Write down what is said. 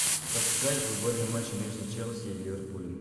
запускай футбольный матч между челси и ливерпулем